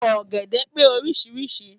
Ọ̀gẹ̀dẹ̀ pé orísirísi.